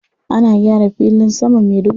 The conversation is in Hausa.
Ana gyaran filin jirgin saman Maiduguri.